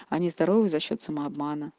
они здоровые за счёт самообмана